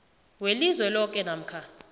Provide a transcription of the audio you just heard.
welizwe loke namkha